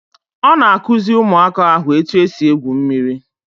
On akuzi Ụmụaka ahu eti esi egwu mmiri